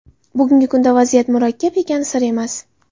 Bugungi kunda vaziyat murakkab ekani sir emas.